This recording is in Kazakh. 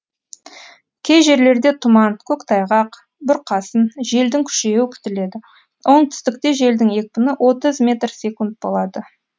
кей жерлерде тұман көктайғақ бұрқасын желдің күшеюі күтіледі оңтүстікте желдің екпіні отыз метр секунд болады